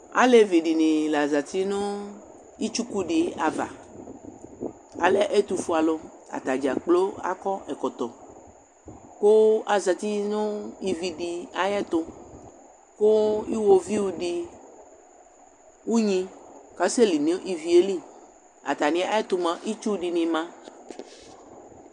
Alevi dini la zǝti nʋ itsuku di ava Alɛ ɛtʋfuealu Atadzakplo akɔ ɛkɔtɔ, kʋ azǝti nʋ ivi di ayʋ ɛtʋ, kʋ iwoviu di, unyi, kasɛli nʋ ivi yɛ li Atami ɛtʋ mua, itsu dini ma